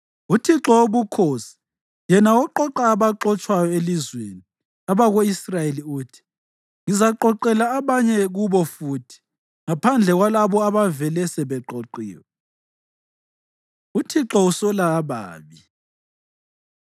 UThixo Wobukhosi, yena oqoqa abaxotshwayo elizweni abako-Israyeli uthi: “Ngizaqoqela abanye kubo futhi ngaphandle kwalabo abavele sebeqoqiwe.” UThixo Usola Ababi